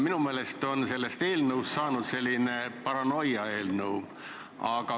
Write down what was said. Minu meelest on sellest eelnõust saanud selline paranoiaeelnõu.